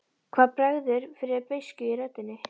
Það bregður fyrir beiskju í röddinni.